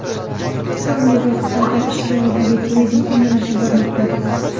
So‘nggi vaqtlarda ichki oilaviy turizm ommalashib bormoqda.